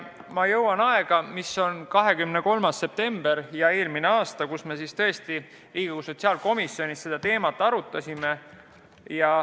Ma jõuan nüüd eelmise aasta 23. septembri juurde, kus me Riigikogu sotsiaalkomisjonis seda teemat arutasime.